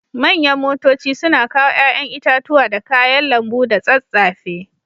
Manyan motoci suna kawo yayan itatuwa da kayan lambu da tsatsafe.